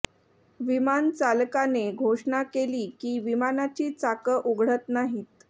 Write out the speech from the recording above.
विमान चालकाने घोषणा केली की विमानाची चाकं उघडत नाहीत